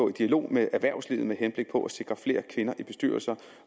en dialog med erhvervslivet med henblik på at sikre flere kvinder i bestyrelser